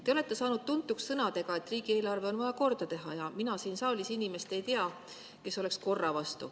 Te olete saanud tuntuks sõnadega, et riigieelarve on vaja korda teha, ja mina ei tea inimest siin saalis, kes oleks korra vastu.